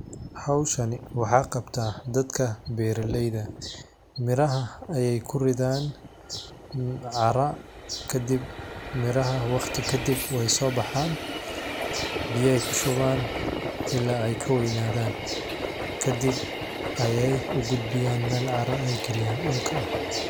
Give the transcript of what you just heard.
Howshan wax qabtan dadka beroleyda, miraha ay kuridhan cara miraha waqti kadib waysobaxan biyay kushuban ila ay kaweynadhan kadib aya ugudbiyan mel cara ay galiyan dulka.